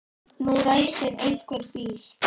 Nú ræsir einhver bíl.